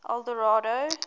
eldorado